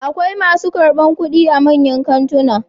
Akwai masu karɓar kuɗi a manyan kantuna